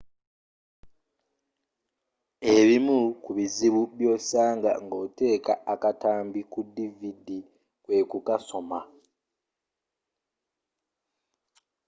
ebimu kubizibu byosanga ng'oteeka akatambi ku dvd kwekukasoma